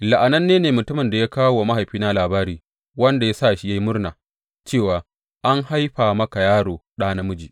La’ananne ne mutumin da ya kawo wa mahaifina labari, wanda ya sa shi ya yi murna cewa, An haifa maka yaro, ɗa namiji!